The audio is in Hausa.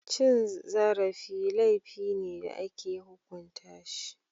Cin zarafi laifi ne da ake hukunta shi.